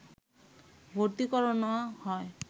ভর্তি করানো হয়